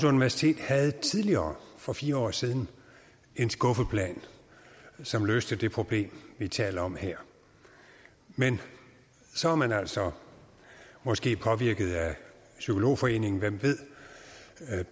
universitet havde tidligere for fire år siden en skuffeplan som løste det problem vi taler om her men så er man altså måske påvirket af psykologforeningen hvem ved